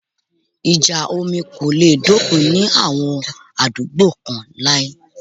Ìjà omi kò le dópin ní àwọn àdúgbò kán láí